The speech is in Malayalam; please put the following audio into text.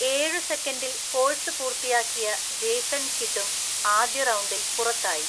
ഏഴു സെക്കൻഡിൽ കോഴ്‌സ് പൂർത്തിയാക്കിയ ജേസൺ കിഡും ആദ്യ റൗണ്ടിൽ പുറത്തായി.